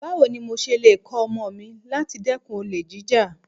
Báwo ni mo ṣe lè kọ̀ ọmọ mi láti dẹ́kun olè jíjà?